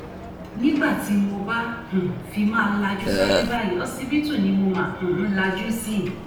nígbà tí mo bá um fi máa lajú sáyé báyìí ọsibítù ni mo máa um ń lajú sí